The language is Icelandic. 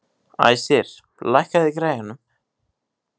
Æsir, lækkaðu í græjunum.